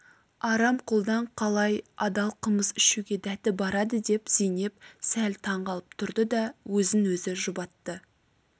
арам қолдан қалай адал қымыз ішуге дәті барады деп зейнеп сәл таң қалып тұрды да өзін-өзі жұбатты